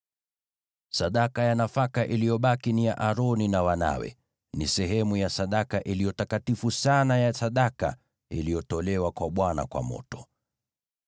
Sadaka ya nafaka iliyobaki ni ya Aroni na wanawe; ni sehemu ya sadaka iliyo takatifu sana ya sadaka iliyotolewa kwa Bwana kwa moto.